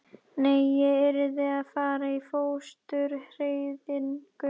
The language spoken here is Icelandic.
Nei, ég yrði að fara í fóstureyðingu.